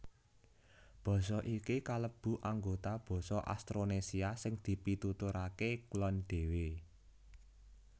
Basa iki kalebu anggota basa Austronésia sing dipituturaké kulon dhéwé